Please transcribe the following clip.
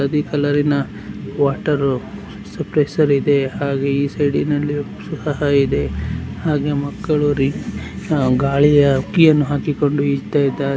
ಹಳದಿ ಕಲರ್ ಇನ water pressure ಇದೆ ಹಾಗೆ ಈ ಸೈಡ್ ಅಲ್ಲಿ ಹಾಗೆ ಮಕ್ಕಳು ಗಾಳಿಯ ಹಕ್ಕಿ ಅನ್ನು ಹಾಕಿ ಕೊಂಡು ಈಜುತ್ತಿದ್ದಾರೆ.